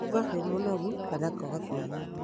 kũigua wĩ mũnogu kana kwaga kwĩigua